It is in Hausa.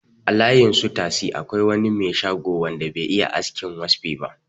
A layin su tasi akwai wani me shago wanda be iya askin waspi ba